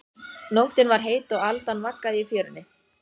Nóttin var heit og aldan vaggaði í fjörunni.